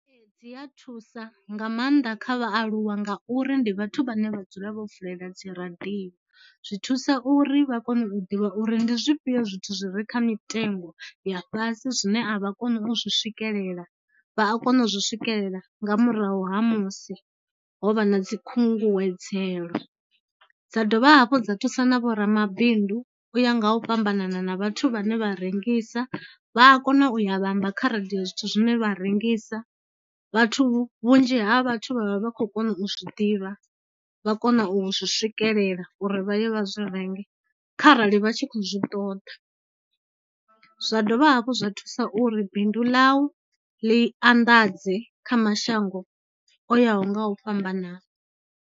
Dzi a thusa nga maanḓa kha vhaaluwa ngauri ndi vhathu vhane vha dzula vho vulela dziradio, zwi thusa uri vha kone u ḓivha uri ndi zwifhio zwithu zwi re kha mitengo ya fhasi zwine a vha koni u zwi swikelela, vha a kona u zwi swikelela nga murahu ha musi ho vha na dzikhunguwedzelo. Dza dovha hafhu dza thusa na vho ramabindu u ya nga u fhambanana na vhathu vhane vha rengisa, vha a kona u ya vha amba kha radio zwithu zwine vha rengisa, vhathu vhunzhi ha vhathu vha vha vha khou kona u zwi ḓivha, vha kona u zwi swikelela uri vha ye vha zwi renge kharali vha tshi khou zwi ṱoḓa. Zwa dovha hafhu zwa thusa uri bindu ḽau ḽi anḓadze kha mashango o yaho nga u fhambanana.